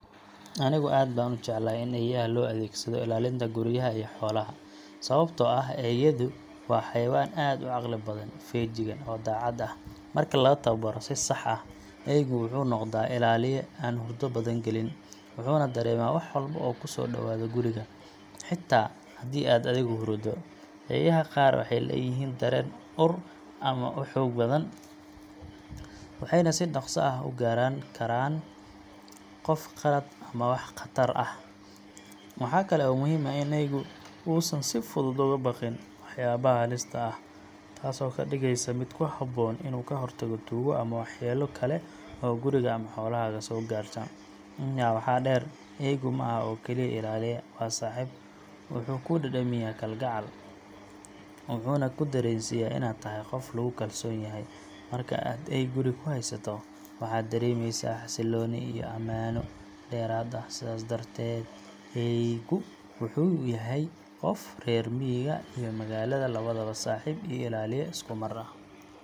Anigu aad baan u jeclahay in eeyaha loo adeegsado ilaalinta guryaha iyo xoolaha, sababtoo ah eeyadu waa xayawaan aad u caqli badan, feejigan, oo daacad ah. Marka la tababaro si sax ah, eeygu wuxuu noqdaa ilaaliye aan hurdo badan gelin, wuxuuna dareemaa wax walba oo ku soo dhowaada guriga, xitaa haddii aad adigu huruddo. Eeyaha qaar waxay leeyihiin dareen ur aad u xoog badan, waxayna si dhakhso ah u garan karaan qof qalaad ama wax khatar ah. Waxa kale oo muhiim ah in eeygu uusan si fudud uga baqin waxyaabaha halista ah, taasoo ka dhigeysa mid ku habboon inuu ka hortago tuugo ama waxyeello kale oo guriga ama xoolahaaga soo gaarta. Intaa waxaa dheer, eeygu ma aha oo kaliya ilaaliye, waa saaxiib. Wuxuu kuu dhadhamiyaa kalgacal, wuxuuna ku dareensiiyaa inaad tahay qof lagu kalsoon yahay. Marka aad eey guriga ku haysato, waxaad dareemaysaa xasilooni iyo ammaano dheeraad ah. Sidaas darteed, eeygu wuxuu u yahay qofka reer miyiga iyo magaalada labadaba saaxiib iyo ilaaliye isku mar ah.